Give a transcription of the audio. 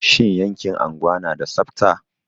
Shin yankin unguwa na da tsabta?